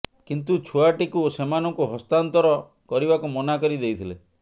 କିନ୍ତୁ ଛୁଆଟିକୁ ସେମାନଙ୍କୁ ହସ୍ତାନ୍ତର କରିବାକୁ ମନା କରି ଦେଇଥିଲେ